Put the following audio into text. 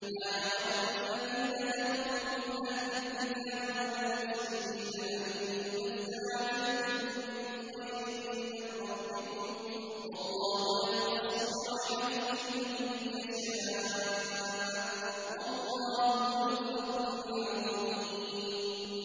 مَّا يَوَدُّ الَّذِينَ كَفَرُوا مِنْ أَهْلِ الْكِتَابِ وَلَا الْمُشْرِكِينَ أَن يُنَزَّلَ عَلَيْكُم مِّنْ خَيْرٍ مِّن رَّبِّكُمْ ۗ وَاللَّهُ يَخْتَصُّ بِرَحْمَتِهِ مَن يَشَاءُ ۚ وَاللَّهُ ذُو الْفَضْلِ الْعَظِيمِ